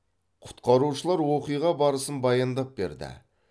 құтқарушылар оқиға барысын баяндап берді